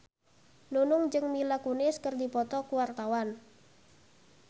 Nunung jeung Mila Kunis keur dipoto ku wartawan